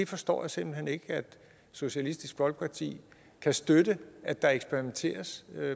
forstår simpelt hen ikke at socialistisk folkeparti kan støtte at der eksperimenteres